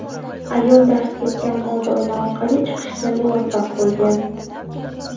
Ayol darz ketgan old oyna orqali chiqishga muvaffaq bo‘lgan.